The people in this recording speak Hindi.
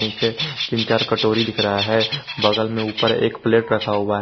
नीचे तीन चार कटोरी दिख रहा है बगल में ऊपर एक प्लेट रखा हुआ है।